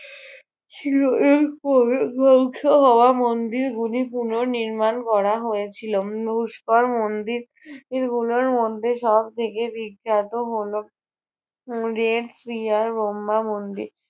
ছিল। এরপর ধ্বংস হওয়া মন্দির গুলি পুনঃনির্মাণ করা হয়েছিল উম পুষ্কর মন্দির গুলোর মধ্যে সবথেকে বিখ্যাত হলো উম দেব প্রিয়ার ব্রহ্মা মন্দির।